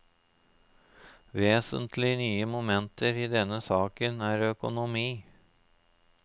Vesentlig nye momenter i denne saken er økonomi.